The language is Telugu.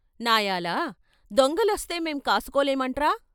"నాయాల " దొంగలొస్తే మేం కాసుకోలేమంట్రా?